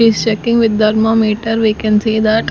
he is checking with dermometer we can see that --